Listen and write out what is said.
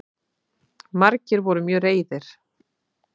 Margir voru mjög reiðir